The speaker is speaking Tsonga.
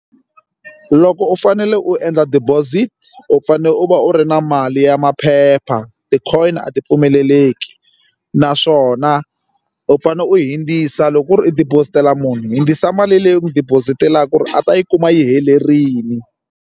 Loko u fanele u endla deposit u fanele u va u ri na mali ya maphepha ti-coin a ti pfumeleleki naswona u fanele u hundzisa loko ku ri u deposit a munhu hundzisa mali leyi u n'wi deposit-elaku ku ri a ta yi kuma yi helerile.